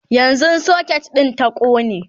yanzun socket din ta ƙone